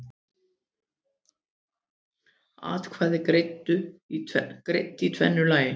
Atkvæði greidd í tvennu lagi